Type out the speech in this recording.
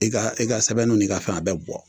I ka i ka sɛbɛnniw ni ka fɛnw a bɛ bi bɔ